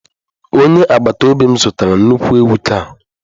Onye agbata obi m zụtara nnukwu ewu taa.